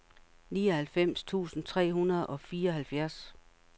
nioghalvfems tusind tre hundrede og fireoghalvfjerds